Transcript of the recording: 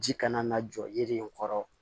Ji kana na jɔ yiri in kɔrɔ